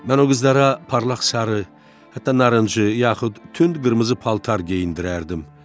Mən o qızlara parlaq sarı, hətta narıncı, yaxud tünd qırmızı paltar geyindirərdim.